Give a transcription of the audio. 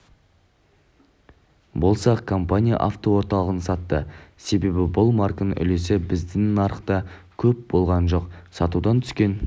болсақ компания автоорталығын сатты себебі бұл марканың үлесі біздің нарықта көп болған жоқ сатудан түскен